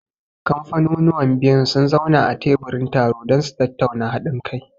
Kamfaniuwan biyun sun zauna a teburin taro don su tattauna haɗin kai.